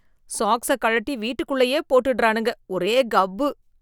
சாக்ஸை கழட்டி வீட்டுக்குள்ளயே போட்டறானுங்க, ஒரே கப்பு.